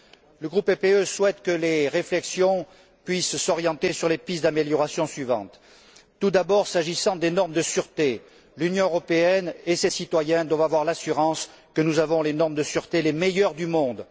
Le groupe du parti populaire européen souhaite que les réflexions puissent s'orienter sur les pistes d'amélioration suivantes Tout d'abord, s'agissant des normes de sûreté, l'Union européenne et ses citoyens doivent avoir l'assurance que nous disposons des normes de sûreté les meilleures du monde.